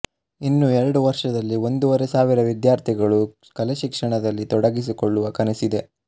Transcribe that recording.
ಇನ್ನು ಎರಡು ವರ್ಷದಲ್ಲಿ ಒಂದೂವರೆ ಸಾವಿರ ವಿದ್ಯಾರ್ಥಿಗಳು ಕಲೆಶಿಕ್ಷಣದಲ್ಲಿ ತೊಡಗಿಸಿಕೊಳ್ಳುವ ಕನಸಿದೆ